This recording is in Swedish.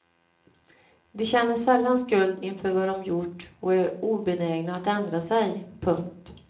De känner sällan skuld inför vad de gjort och är obenägna att ändra sig. punkt